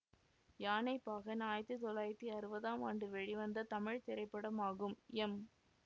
யானைப்பாகன் ஆயிரத்தி தொள்ளாயிரத்தி அறுவதாம் ஆண்டு வெளிவந்த தமிழ் திரைப்படமாகும் எம்